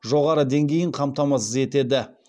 жоғары деңгейін қамтамасыз етеді